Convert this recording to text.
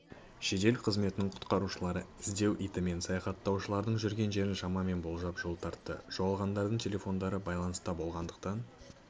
жедел қызметінің құтқарушылары іздеу итімен саяхаттаушылардың жүрген жерін шамамен болжап жол тартты жоғалғандардың телефондары байланыста болғандықтан